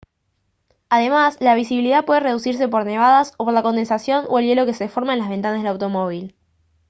además la visibilidad puede reducirse por nevadas o por la condensación o el hielo que se forma en las ventanas del automóvil